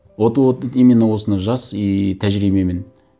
вот вот именно осыны жас и тәжірибемен